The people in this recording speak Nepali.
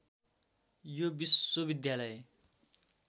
यो विश्वविद्यालय